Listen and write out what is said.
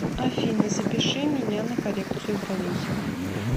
афина запиши меня на коррекциию бровей